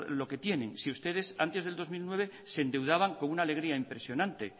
lo que tienen si ustedes antes del dos mil nueve se endeudaban con una alegría impresionante